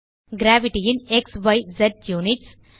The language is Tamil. கிரேவிட்டி ன் க்ஸிஸ் யுனிட்ஸ்